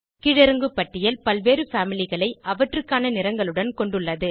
கீழிறங்கு பட்டியல் பல்வேறு பாமிலி களை அவற்றுக்கான நிறங்களுடன் கொண்டுள்ளது